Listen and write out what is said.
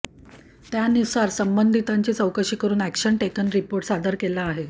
त्यानुसार संबंधितांची चौकशी करून अॅक्शन टेकन रिपोर्ट सादर केला आहे